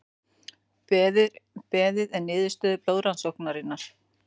Beðið er niðurstöðu blóðrannsóknar